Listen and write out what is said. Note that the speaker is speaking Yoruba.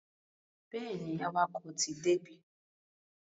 Bẹ́ẹ̀ni, awakọ̀ ti débí.